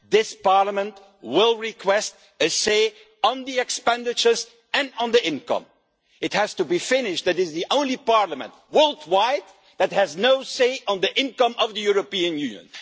This Parliament will request a say on the expenditure and on the income. It has to be finished that this is the only parliament worldwide that has no say on the income of the European Union.